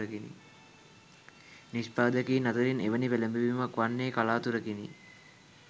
නිෂ්පාදකයින් අතරින් එවැනි පෙලඹවීමක් වන්නේ කලාතුරකිනි.